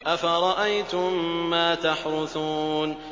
أَفَرَأَيْتُم مَّا تَحْرُثُونَ